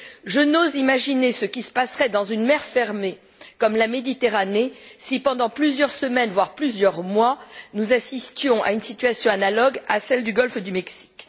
Je n'ose imaginer ce qui se passerait dans une mer fermée comme la Méditerranée si, pendant plusieurs semaines, voire plusieurs mois, nous assistions à une situation analogue à celle du golfe du Mexique.